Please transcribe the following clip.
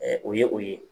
o ye o ye